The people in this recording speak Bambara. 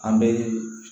An bɛ